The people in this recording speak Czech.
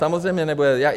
Samozřejmě nebude.